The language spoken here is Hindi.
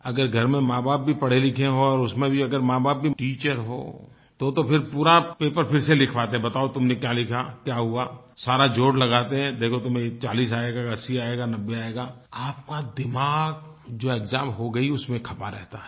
अगर घर में माँबाप भी पढ़े लिखे हों और उसमें भी अगर माँबाप भी टीचर हों तोतो फिर पूरा पेपर फिर से लिखवाते हैं बताओ तुमने क्या लिखा क्या हुआ सारा जोड़ लगाते हैं देखो तुम्हें 40 आएगा कि 80 आएगा 90 आएगा आपका दिमाग जो एक्साम हो गयी उसमें खपा रहता है